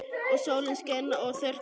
Og sólin skein og þurrkaði heyið.